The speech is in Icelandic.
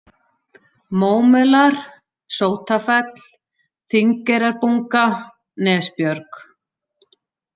Mómelar, Sótafell, Þingeyrarbunga, Nesbjörg